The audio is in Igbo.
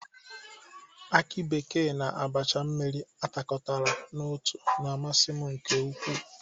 Akị bekee na abacha mmiri atakọtara n'otu na-amasị m nke ukwu.